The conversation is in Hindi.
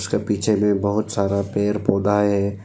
उसके पीछे में बहुत सारा पेड़ पौधा है।